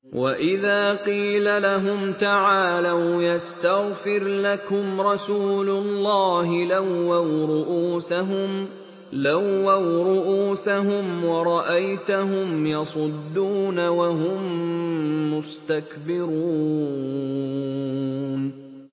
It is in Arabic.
وَإِذَا قِيلَ لَهُمْ تَعَالَوْا يَسْتَغْفِرْ لَكُمْ رَسُولُ اللَّهِ لَوَّوْا رُءُوسَهُمْ وَرَأَيْتَهُمْ يَصُدُّونَ وَهُم مُّسْتَكْبِرُونَ